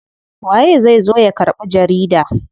Waye zai zo ya karɓi jarida?